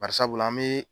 Bari sabula an be